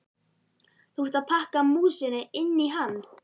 Þú ert að pakka músinni inn í hann!